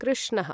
कृष्णः